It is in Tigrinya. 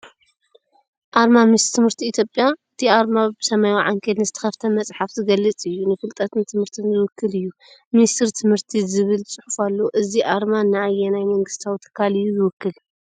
ኣርማ ሚኒስትሪ ትምህርቲ ኢትዮጵያ። እቲ ኣርማ ብሰማያዊ ዓንኬል ንዝተኸፍተ መጽሓፍ ዝገልጽ እዩ፤ ንፍልጠትን ትምህርትን ዝውክል እዩ። "ሚኒስትሪ ትምህርቲ" ዝብል ጽሑፍ ኣለዎ፡፡ እዚ ኣርማ ንኣየናይ መንግስታዊ ትካል እዩ ዝውክል?